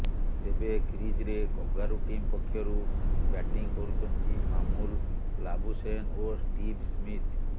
ତେବେ କ୍ରିଜରେ kangaroo team ପକ୍ଷରୁ ବ୍ୟାଟିଂ କରୁଛନ୍ତି ମାମୁଲ ଲାବୁସେନ୍ ଓ ଷ୍ଟିଭ୍ ସ୍ମିଥ